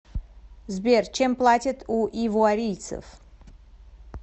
сбер чем платят у ивуарийцев